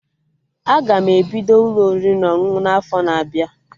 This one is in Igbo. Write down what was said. Aga m ebido Ụlọ oriri na ọṅụṅụ n'afo na-abịa